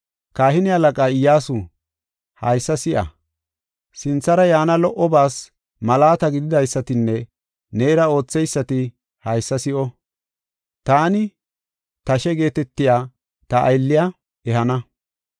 Kahine halaqa Iyyasu, haysa si7a! Sinthara yaana lo77obaas malaata gididaysatinne neera ootheysati haysa si7o! Taani, ‘Tashe’ geetetiya ta aylliya ehana.